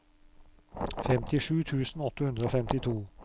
femtisju tusen åtte hundre og femtito